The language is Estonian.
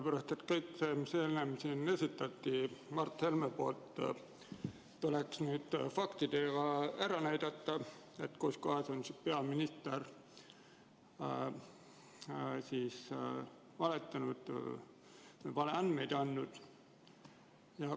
Kõik, mis Mart Helme enne siin esitas, tuleks nüüd faktidega ära tõestada, kuskohas peaminister on valetanud või valeandmeid andnud.